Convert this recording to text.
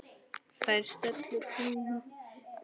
Þær stöllur kíma við.